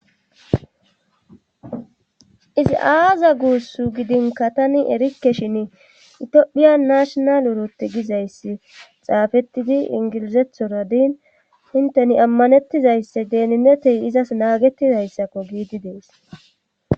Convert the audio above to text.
Isi aaza guussu gidinka tani erikke shin itiphiya nashonal urotti gizayssi xaafettidi ingilizethora diin inteni ammanettizaysse deeninetey izas naagettizayssakko giidi dees.